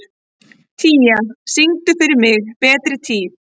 Tía, syngdu fyrir mig „Betri tíð“.